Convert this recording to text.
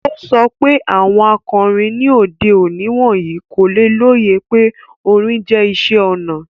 O sọ pe awọn akọrin ni ode oni wọnyi ko loye pe orin jẹ iṣẹ ona